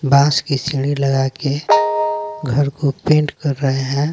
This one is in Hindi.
बास की सीढ़ी लगा के घर को पेंट कर रहे हैं।